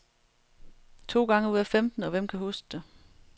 To gange ud af femten, og hvem kan huske det.